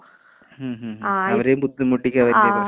ഉം ഉം ഉം അവരേം ബുദ്ധിമുട്ടിച്ച് *നോട്ട്‌ ക്ലിയർ*.